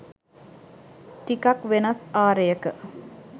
ටිකක් වෙනස් ආරයක